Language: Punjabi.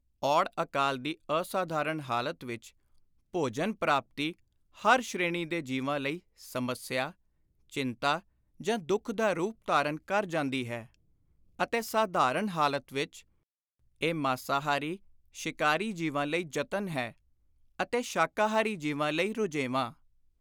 ਔੜ-ਅਕਾਲ ਦੀ ਅਸਾਧਾਰਣ ਹਾਲਤ ਵਿਚ ਭੋਜਨ-ਪ੍ਰਾਪਤੀ ਹਰ ਸ਼੍ਰੇਣੀ ਦੇ ਜੀਵਾਂ ਲਈ ਸਮੱਸਿਆ, ਚਿੰਤਾ ਜਾਂ ਦੁੱਖ ਦਾ ਰੂਪ ਧਾਰਨ ਕਰ ਜਾਂਦੀ ਹੈ ਅਤੇ ਸਾਧਾਰਣ ਹਾਲਤ ਵਿਚ ਇਹ ਮਾਸਾਹਾਰੀ ਸ਼ਿਕਾਰੀ ਜੀਵਾਂ ਲਈ ਜਤਨ ਹੈ ਅਤੇ ਸ਼ਾਕਾਹਾਰੀ ਜੀਵਾਂ ਲਈ ਰੁਝੇਵਾਂ।